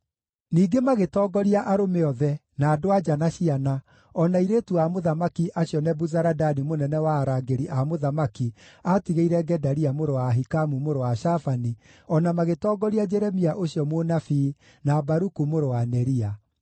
Ningĩ magĩtongoria arũme othe, na andũ-a-nja na ciana, o na airĩtu a mũthamaki acio Nebuzaradani mũnene wa arangĩri a mũthamaki aatigĩire Gedalia mũrũ wa Ahikamu, mũrũ wa Shafani, o na magĩtongoria Jeremia ũcio mũnabii, na Baruku mũrũ wa Neria.